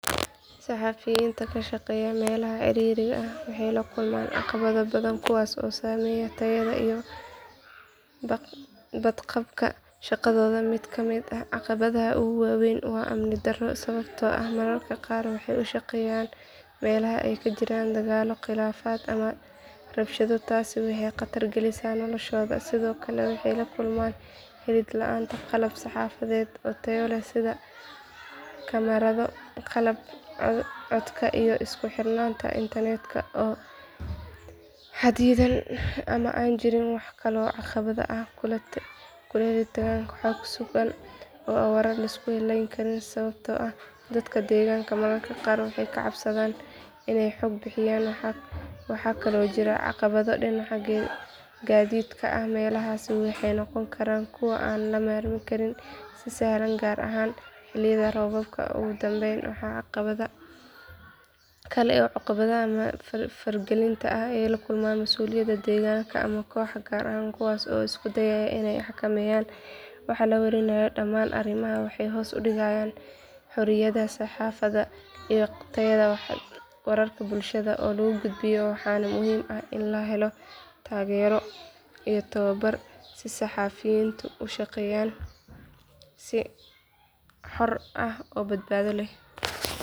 Saxafiyiinta ka shaqeeya meelaha ciriiriga ah waxay la kulmaan caqabado badan kuwaas oo saameeya tayada iyo badqabka shaqadooda mid ka mid ah caqabadaha ugu waaweyn waa amni darro sababtoo ah mararka qaar waxay u shaqeeyaan meelaha ay ka jiraan dagaallo khilaafaad ama rabshado taasi waxay khatar gelisaa noloshooda sidoo kale waxay la kulmaan helid la’aan qalab saxafadeed oo tayo leh sida kamarado qalabka codka iyo isku xirnaanta internetka oo xaddidan ama aan jirin waxaa kaloo caqabad ku ah helitaanka xog sugan iyo warar la isku halleyn karo sababtoo ah dadka deegaanka mararka qaar way ka cabsadaan inay xog bixiyaan waxaa kaloo jira caqabado dhinaca gaadiidka ah meelahaasi waxay noqon karaan kuwo aan la marin karin si sahlan gaar ahaan xilliyada roobabka ugu dambayn waxaa caqabad kale ah cunaqabateynta ama faragelinta ay kala kulmaan masuuliyiinta deegaanka ama kooxo gaar ah kuwaas oo isku dayaya inay xakameeyaan waxa la warinayo dhamaan arrimahan waxay hoos u dhigaan xorriyadda saxaafadda iyo tayada wararka bulshada loo gudbiyo waxaana muhiim ah in la helo taageero iyo tababar si saxafiyiintu ugu shaqeeyaan si xor ah oo badbaado leh.